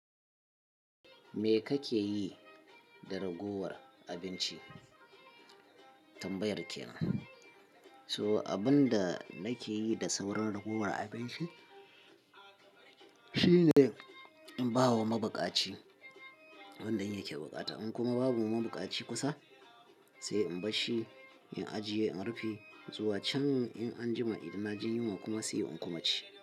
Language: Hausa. Me kake yi da ragowar abinci? Tambayar kenan. So abun da nake yi da sauran ragowar abinci, shine in ba wa mabukaci, wanda yake bukata. In kuma babu mabukaci kusa, sai in bar shi, in ajiye, in rufe zuwa can in an jima idan na jin yunwa kuma sai in kuma ci.